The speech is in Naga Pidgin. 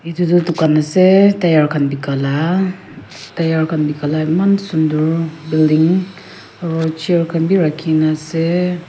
Etu tuh dukhan ase tire khan beka kala tire khan beka kala eman sundur building aro chair khan bhi rakhina ase.